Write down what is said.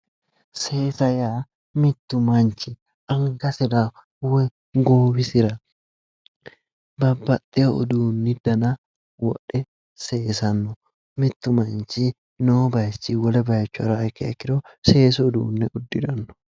Seesa yaa mittu manchi angasira woyi goowisira babbxewo uduunni dana wodhe seesanno. mittu manchi noo baayiichinni wole haraaha ikkiha ikkiro seesu uduunne uddiranno.